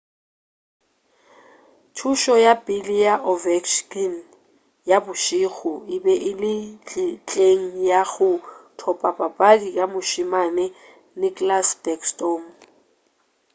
thušo ya pele ya ovechkin ya bošego e be e le ntlheng ya go thopa papadi ka mošemane nicklas backstorm